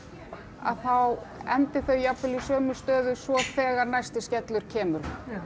að þá endi þau jafnvel í sömu stöðu svo þegar næsti skellur kemur